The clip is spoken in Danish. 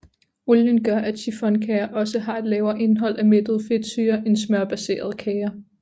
Olien gør at chiffonkager også har et lavere indhold af mættede fedtsyrer end smørbaserede kager